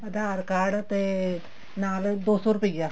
ਆਧਾਰ card ਤੇ ਨਾਲ ਦੋ ਸੋ ਰੁਪਇਆ